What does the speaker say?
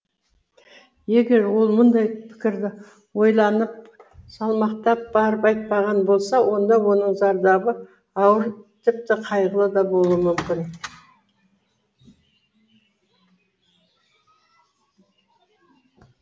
егер ол мұндай пікірді ойланып салмақтап барып айтпаған болса онда оның зардабы ауыр тіпті қайғылы да болуы мүмкін